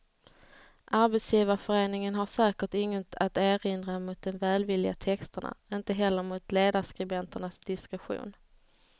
Arbetsgivarföreningen har säkert inget att erinra mot de välvilliga texterna, inte heller mot ledarskribenternas diskretion.